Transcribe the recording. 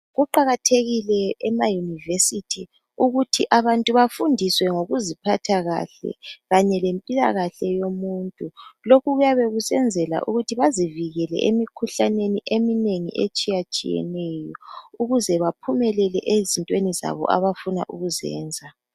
Kuqakathekile emayunivesithi ukuthi abantu befundiswe ngokuziphatha kahle, kanye lempilakahle yomuntu lokhu kuyabe kusenzelwa ukuthi bazivikele emikhuhlaneni etshiyatshiyeneyo ukuze baphumelele ezintweni zabo abayabe befuna ukuzenza.